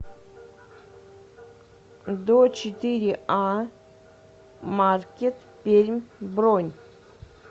дочетыреа маркет пермь бронь